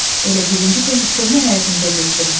Elə birinci gün köhnə həyətimizə getdim.